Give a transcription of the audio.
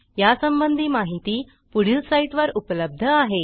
यासंबंधी माहिती पुढील साईटवर उपलब्ध आहे